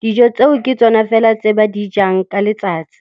dijo tseo ke tsona fela tse ba di jang ka letsatsi.